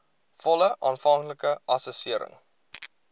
volle aanvanklike assessering